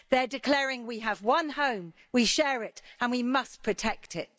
They're declaring we have one home, we share it and we must protect it.